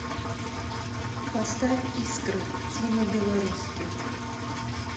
поставь искры тимы белорусских